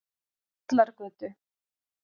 Vallargötu